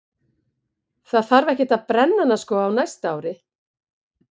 Það þarf ekkert að brenna hana sko á næsta ári.